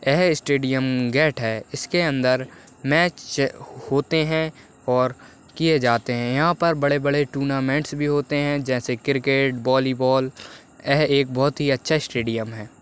एह stadium gate है इसके अंदर मैच होते है और किए जाते है यहाँ पर बड़े -बड़े टूर्नामेंटस भी होते है जैसे क्रिकेट वालीबॉल एह एक बहुत ही अच्छा स्टेडियम हैं।